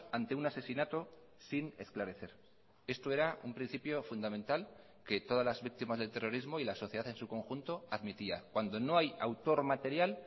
ante un asesinato sin esclarecer esto era un principio fundamental que todas las víctimas del terrorismo y la sociedad en su conjunto admitía cuando no hay autor material